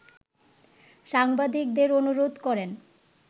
সাংবাদিকদের অনুরোধ করেন